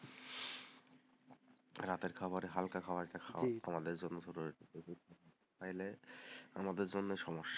রাতের খাবারে হালকা খাবার একটা খায়া আমাদের জন্য আমাদের জন্য সমস্যা,